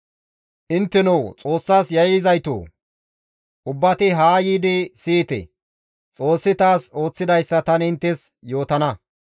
Intteno Xoossas yayyizaytoo! Ubbati haa yiidi siyite; Xoossi taas ooththidayssa tani inttes yootana.